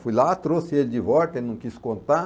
Fui lá, trouxe ele de volta, ele não quis contar.